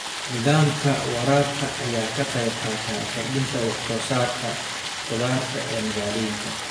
Nidaamka waraabka ayaa ka qayb qaata kordhinta wax soo saarka khudaarta ee magaalooyinka.